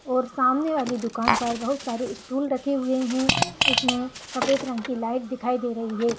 और सामने वाली दुकान पर बहुत सारे स्टूल रखे हुए है इसमें सफेद रंग की लाइट दिखाई दे रही है।